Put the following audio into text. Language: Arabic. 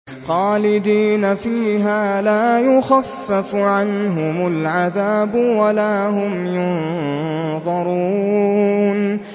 خَالِدِينَ فِيهَا لَا يُخَفَّفُ عَنْهُمُ الْعَذَابُ وَلَا هُمْ يُنظَرُونَ